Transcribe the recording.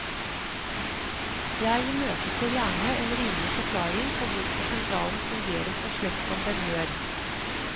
Jeg imøteser gjerne en rimelig forklaring på hvorfor sentralen fungerer så slett som den gjør.